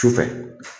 Sufɛ